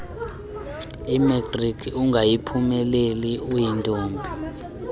imatriki angayiphumeleli uyintombi